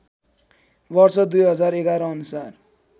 वर्ष २०११ अनुसार